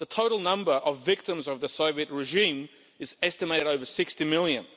The total number of victims of the Soviet regime is estimated at over 60 million.